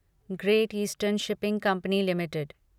great eastern shipping company limited